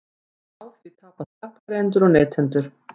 Á því tapa skattgreiðendur og neytendur